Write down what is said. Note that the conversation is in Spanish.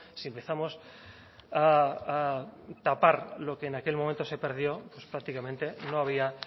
si empezamos a tapar lo que en aquel momento se perdió pues prácticamente no había